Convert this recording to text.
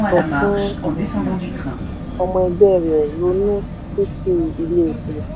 ipman sọ fún um ọmọ ẹgbẹ́ rẹ̀ lati ronú títi ilé epo.